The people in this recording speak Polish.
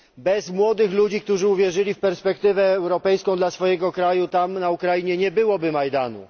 Bez młodych ludzi, którzy uwierzyli w perspektywę europejską dla swojego kraju, tam na Ukrainie, nie byłoby Majdanu.